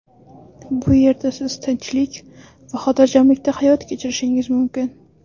Bu yerda siz tinchlik va xotirjamlikda hayot kechirishingiz mumkin.